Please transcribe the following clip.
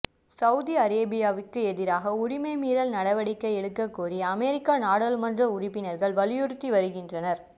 Saudi அரேபியாவுக்கு எதிராக உரிமை மீறல் நடவடிக்கை எடுக்க கோரி அமெரிக்க நாடாளுமன்ற உறுப்பினர்கள் வலியுறுத்தி வருகின்றனர்